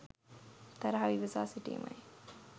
තරහව ඉවසා සිටීමයි.